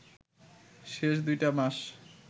শেষ দুইটা মাস